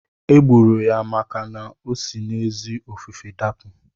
E gburu ya maka na osi n'ezi ofufe dapụ.